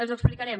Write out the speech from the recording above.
els ho explicarem